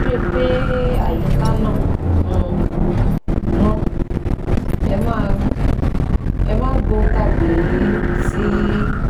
Ẹ rí i pé àyíká náà um mọ́, ẹ má gbo ó tàbí ti í